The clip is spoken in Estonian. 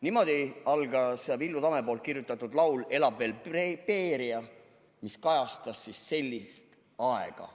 " Niimoodi algab Villu Tamme kirjutatud laul "Elab veel Beria", mis kajastab sellist aega.